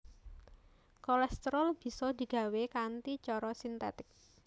Kolesterol bisa digawé kanthi cara sintetik